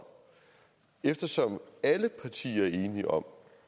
eftersom alle partier er enige om